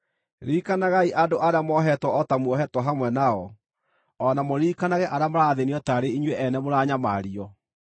Ririkanagai andũ arĩa mohetwo o ta muohetwo hamwe nao, o na mũririkanage arĩa marathĩĩnio taarĩ inyuĩ ene mũranyamario.